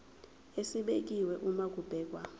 esibekiwe uma kubhekwa